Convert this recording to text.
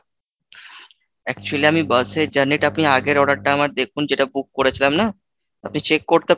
actually আমি bus এ journey টা আপনি আগের order টা আমার দেখুন যেটা book করেছিলাম না, আপনি check করতে পারবেন